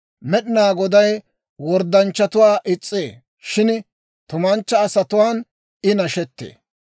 Med'inaa Goday worddanchchatuwaa is's'ee; shin tumanchcha asatuwaan I nashettee.